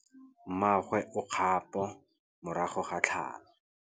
Mmagwe o kgapô morago ga tlhalô.